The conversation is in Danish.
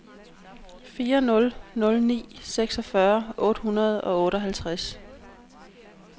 fire nul nul ni seksogfyrre otte hundrede og otteoghalvtreds